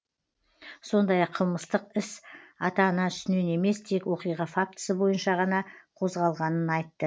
сондай ақ қылмыстық іс ата ана үстінен емес тек оқиға фактісі бойынша ғана қозғалғанын айтты